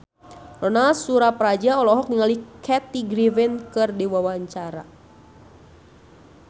Ronal Surapradja olohok ningali Kathy Griffin keur diwawancara